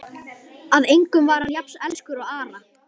Að engum var hann jafn elskur og Ara.